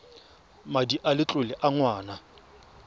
madi a letlole a ngwana